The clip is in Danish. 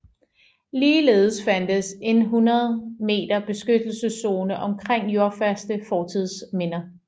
Ligeledes fandtes en 100 m beskyttelseszone omkring jordfaste fortidsminder